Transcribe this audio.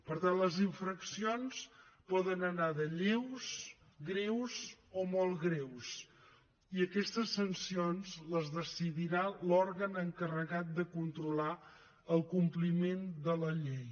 per tant les infraccions poden anar de lleus greus o molt greus i aquestes sancions les decidirà l’òrgan encarregat de controlar el compliment de la llei